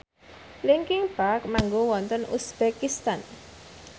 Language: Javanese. linkin park manggung wonten uzbekistan